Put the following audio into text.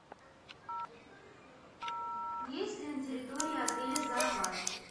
есть ли на территории отеля зоопарк